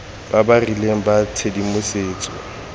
ba ba rileng ba tshedimosetso